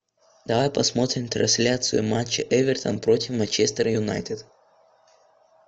давай посмотрим трансляцию матча эвертон против манчестер юнайтед